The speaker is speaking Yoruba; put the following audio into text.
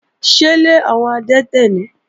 Ṣélé àwọn adẹ́tẹ̀ náà nìí?